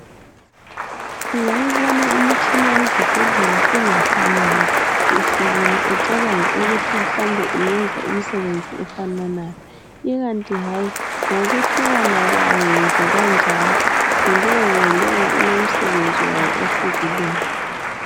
Ungayibona imitshina yezibhedlela ingafanani ihlukile ucabange ukuthi mhlawumbe iyenza imisebenzi efananayo, ikanti hayi ngokuhlukana kwayo njekanjalo ngulongalowo ulomsebenzi wayo ohlukileyo.